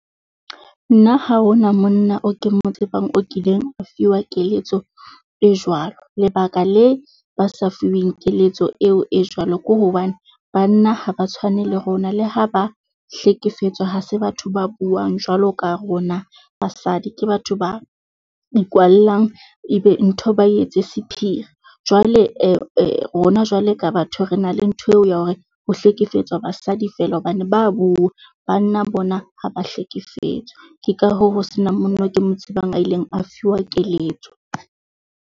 Nna ha ho na monna o ke mo tsebang o kileng a fiwa keletso e jwalo. Lebaka le ba se fuweng keletso eo e jwalo ke hobane banna ha ba tshwane le rona, le ha ba hlekefetswa, ha se batho ba buang jwalo ka rona basadi. Ke batho ba ikwallang, ebe ntho ba etse sephiri. Jwale rona jwale ka batho re na le ntho eo ya hore ho hlekefetswa ha basadi feela hobane ba bua. Banna bona ha ba hlekefetswe ke ka hoo ho se nang monna eo ke mo tsebang a ileng a fuwa keletso.